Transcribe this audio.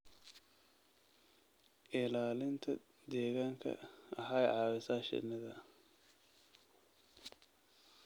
Ilaalinta deegaanka waxay caawisaa shinnida.